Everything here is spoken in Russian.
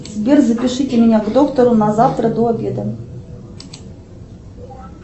сбер запишите меня к доктору на завтра до обеда